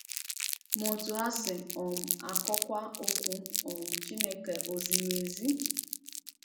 Ma otú ha si um akọwa Okwu um Chineke ò ziri ezi?